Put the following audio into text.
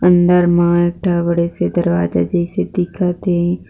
अंदर मा एक ठा बड़े से दरवाजा जैसे दिखत थे।